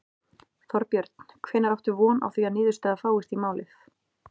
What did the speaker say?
Þorbjörn: Hvenær áttu von á því að niðurstaða fáist í málið?